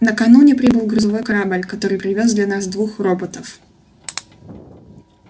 накануне прибыл грузовой корабль который привёз для нас двух роботов